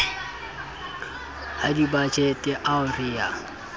a dibajete ao re a